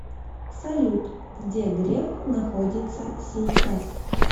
салют где греф находится сейчас